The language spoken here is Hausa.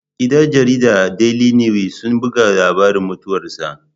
Gidan jaridar Daili niwis sun buga labari mutuwar sa